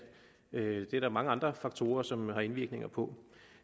det er der mange andre faktorer som har indvirkning på